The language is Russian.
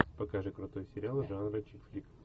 покажи крутой сериал жанра чикфлик